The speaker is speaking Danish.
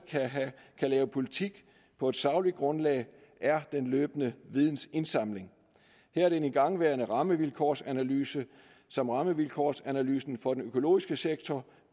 kan lave politik på et sagligt grundlag er den løbende vidensindsamling her er den igangværende rammevilkårsanalyse som rammevilkårsanalysen for den økologiske sektor